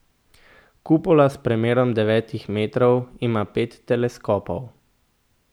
Kupola s premerom devetih metrov ima pet teleskopov.